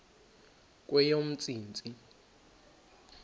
kweyomntsintsi